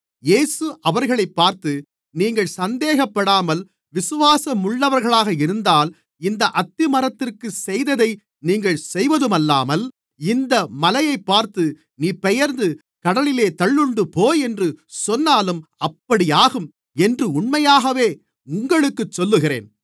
இயேசு அவர்களைப் பார்த்து நீங்கள் சந்தேகப்படாமல் விசுவாசமுள்ளவர்களாக இருந்தால் இந்த அத்திமரத்திற்குச் செய்ததை நீங்கள் செய்வதுமல்லாமல் இந்த மலையைப் பார்த்து நீ பெயர்ந்து கடலிலே தள்ளுண்டுபோ என்று சொன்னாலும் அப்படியாகும் என்று உண்மையாகவே உங்களுக்குச் சொல்லுகிறேன்